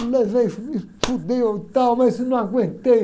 Eu levei, falei me e tal, mas eu não aguentei.